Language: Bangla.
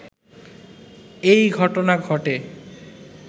এই ঘটনা ঘটে